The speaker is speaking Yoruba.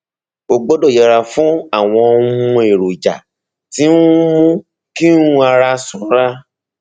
o gbọdọ yẹra fún àwọn um èròjà tí ń mú kí um ara sanra